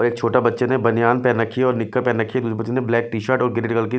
और एक छोटे बच्चे ने बनियान पहन रखी है और निक्कर पहन रखी है दूसरे बच्चे ने ब्लैक टी_शर्ट और ग्रे कलर की--